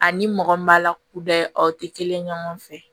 Ani mɔgɔ min b'a la kuda aw tɛ kelen ye ɲɔgɔn fɛ